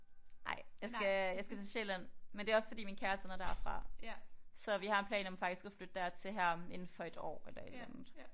Nej jeg skal jeg skal til Sjælland men det er også fordi min kæreste han er derfra så vi har planer om faktisk at flytte dertil her om indenfor et år eller et eller andet